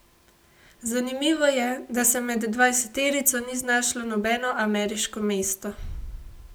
Zanimivo je, da se med dvajseterico ni znašlo nobeno ameriško mesto.